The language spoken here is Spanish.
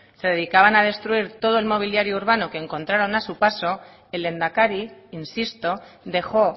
se dedicaban a destruir todo el mobiliario urbano que encontraron a su paso el lehendakari insisto dejó